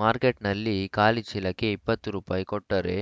ಮಾರ್ಕೆಟ್‌ನಲ್ಲಿ ಖಾಲಿ ಚೀಲಕ್ಕೆ ಇಪ್ಪತ್ತು ರೂಪಾಯಿ ಕೊಟ್ಟರೆ